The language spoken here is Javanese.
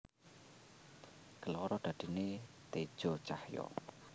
Keloro dadine teja cahya